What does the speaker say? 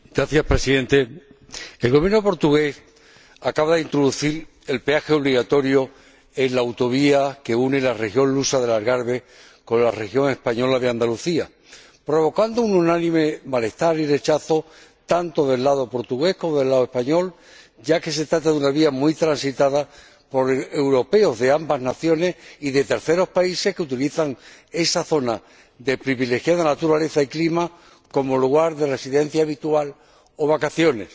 Señor Presidente, el Gobierno portugués acaba de introducir el peaje obligatorio en la autovía que une la región lusa del Algarve con la región española de Andalucía, lo que ha provocado un unánime malestar y rechazo, tanto del lado portugués como del lado español, ya que se trata de una vía muy transitada por europeos de ambas naciones y de terceros países, que utilizan esa zona de privilegiada naturaleza y clima como lugar de residencia habitual o de vacaciones.